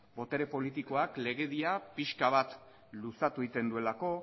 botere politikoak legedia pixka bat luzatu egiten duelako